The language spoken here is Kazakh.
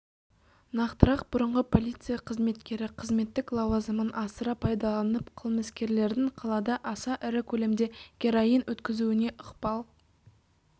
нақтырақ бұрынғы полиция қызметкері қызметтік лауазымын асыра пайдаланып қылмыскерлердің қалада аса ірі көлемде героин өткізуіне ықпал